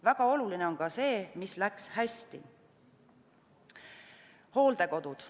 Väga oluline on ka see, mis läks hästi.